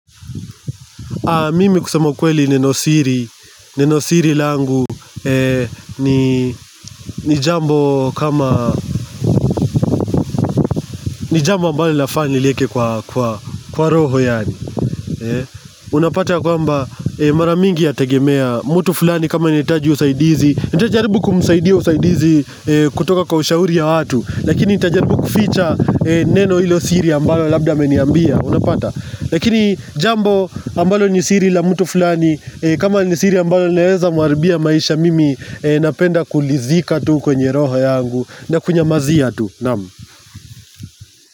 Mimi kusema kweli neno siri langu ni jambo kama, ni jambo ambalo lafaa niliike kwa roho yaani Unapata kwamba mara mingi yategemea, mutu fulani kama anahitaji usaidizi, nitajaribu kumsaidia usaidizi kutoka kwa ushauri ya watu Lakini nita jaribu kuficha neno hilo siri ambalo labda ameniambia, unapata Lakini jambo ambalo ni siri la mtu fulani kama ni siri ambalo linaeza mwaribia maisha mimi Napenda kulizika tu kwenye roho yangu na kunyamazia tu Naam.